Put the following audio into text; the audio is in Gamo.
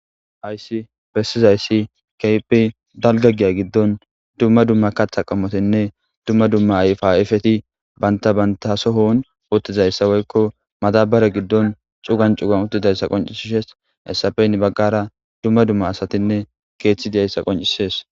Hayssi bessizayssi ke'hippe dalgga giya giddon dumma dumma kaththa qamotinne dumma dumma ayfa ayfeti banta banta soohon oottizayssa woykko madabare giddon cugan cugan uttidayssa qoncisishshes hessappe heni baggara dumma dumma asatinne keeththi diyayssa qoncisees